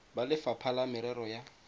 ba lefapha la merero ya